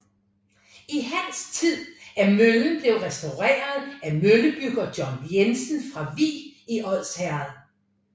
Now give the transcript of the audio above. I hans tid er møllen blevet restaureret af møllebygger John Jensen fra Vig i Odsherred